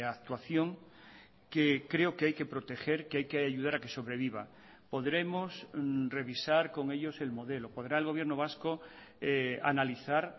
actuación que creo que hay que proteger que hay que ayudar a que sobreviva podremos revisar con ellos el modelo podrá el gobierno vasco analizar